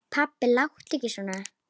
Pabbi láttu ekki svona.